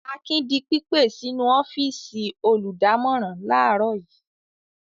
Akin di pípè sínú ọ́fíísì olùdámọ̀ràn láàárọ̀ yìí.